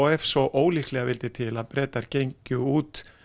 ef svo ólíklega vildi til að Bretar gengju út